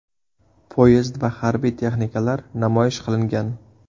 Poyezd va harbiy texnikalar namoyish qilingan.